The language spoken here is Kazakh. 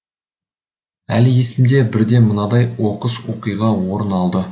әлі есімде бірде мынадай оқыс оқиға орын алды